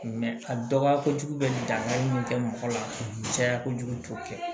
a dɔgɔya kojugu bɛ dankari min kɛ mɔgɔ la caya kojugu t'o kɛ